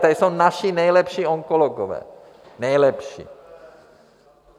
Tady jsou naši nejlepší onkologové, nejlepší.